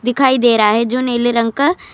دکھائی دے رہا ہے جو نیلے رنگ کا.